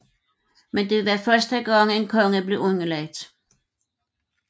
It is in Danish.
Men det var første gang en konge blev den underlagt